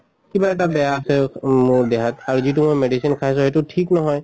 কিবা এটা বেয়া আছে মোৰ দেহাত আৰু যিটো মই medicine খাইছো সেইটো ঠিক নহয়